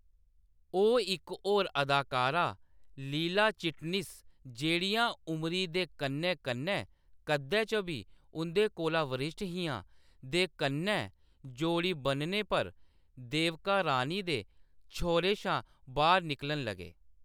ओह्‌‌ इक होर अदाकारा लीला चिटनिस, जेह्‌‌ड़ियां उमरी दे कन्नै-कन्नै कद्दै च बी उंʼदे कोला वरिश्ठ हियां, दे कन्नै जोड़ी बनने पर देविका रानी दे छौरे शा बाह्‌‌र निकलन लगे।